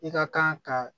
I ka kan ka